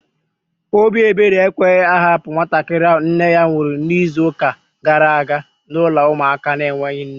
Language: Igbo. Obi ebere ekweghị ha hapụ nwatakịrị ahụ nne ya nwụrụ n'izuka gara aga n'ụlọ ụmụaka na enweghị nne